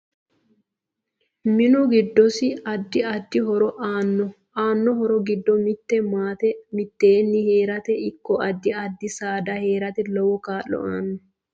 MInu giddosi addi addi horo aano aanno horo giddo mite maate miteeni heerate ikko addi addi saada heerate lowo kaa'lo aano